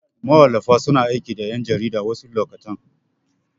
Mawallafa suna aiki da ƴan jarida wasu lokutan.